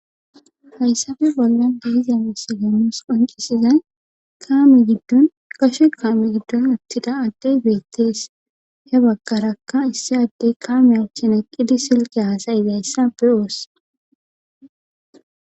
hayssafe bollon diizanas gemmus qoncisizay kaami giddon gashe kaame giddon uttida addey beettees he bagkarakka issi addey kaame uchchin eqqidi silqe haasayidayssa be7oos.